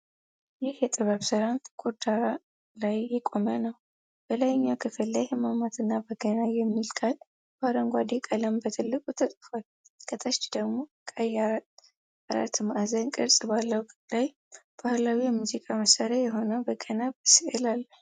ይህ የጥበብ ሥራ ጥቁር ዳራ ላይ የቆመ ነው። በላይኛው ክፍል ላይ "ህማማትና በገና" የሚል ቃል በአረንጓዴ ቀለም በትልቁ ተጽፏል። ከታች ደግሞ ቀይ አራት ማዕዘን ቅርፅ ባለው ላይ ባህላዊ የሙዚቃ መሣሪያ የሆነው በገና በስዕል አለ።